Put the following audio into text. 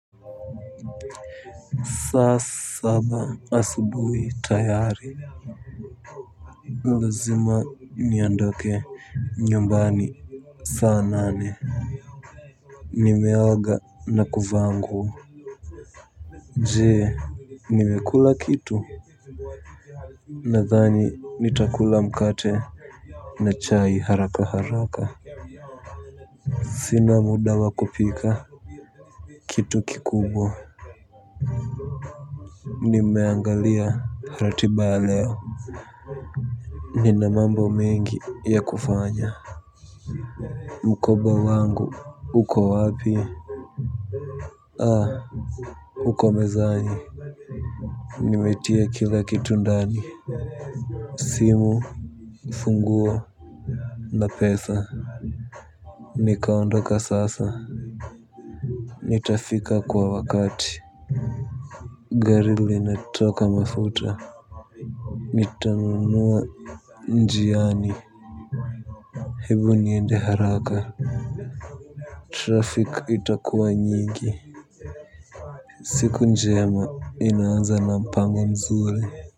Saa saba asubuhi tayari. Lazima niondoke nyumbani saa nane. Nimeoga na kuvaa nguo. Je, nimekula kitu? Nadhani nitakula mkate na chai haraka haraka. Sina muda wa kupika. Kitu kikubwa nimeangalia ratiba ya leo. Nina mambo mengi ya kufanya. Mkoba wangu uko wapi? Haa, uko mezani. Nimetia kila kitu ndani. Simu, funguo, na pesa. Nikaondoka sasa. Nitafika kwa wakati. Gari linataka mafuta. Nitanunuwa njiani. Hebu niende haraka Traffic itakuwa nyingi. Siku njema inaanza na mpango mzuri.